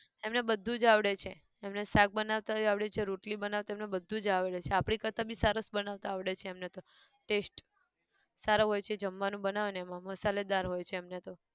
એમને બધું જ આવડે છે, એમને શાક બનાવતાંયે આવડે છે રોટલી બનાવતા એમને બધું જ આવડે છે, આપડી કરતા બી સરસ બનાવતા આવડે છે એમને તો taste સારો હોય છે જમવાનું બનાવે ન એમાં મસાલેદાર હોય છે એમને તો